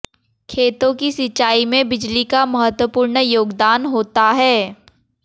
खेतों की सिंचाई में बिजली का महत्वपूर्ण योगदान होता है